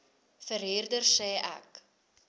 verhuurder sê ek